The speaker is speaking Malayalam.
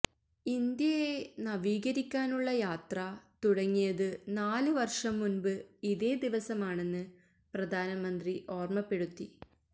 ഇന്ത്യയെ നവീകരിക്കാനുള്ള യാത്ര തുടങ്ങിയത് നാല് വര്ഷം മുന്പ് ഇതേ ദിവസമാണെന്ന് പ്രധാനമന്ത്രി ഓര്മ്മപ്പെടുത്തി